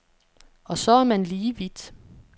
Og så er man lige vidt.